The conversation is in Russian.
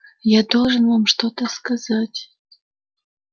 я должен вам что-то сказать